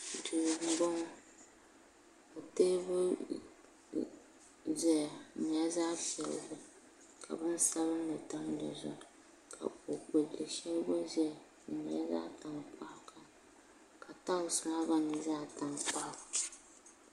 duu m-bɔŋɔ ka teebuli zaya di nyɛla zaɣ' piɛlli ka binsabilinli tam di zuɣu ka kuɣ' kpulli shɛli gba zaya di nyɛla zaɣ' tankpaɣu ka talisi maa gba nyɛ zaɣ' tankpaɣu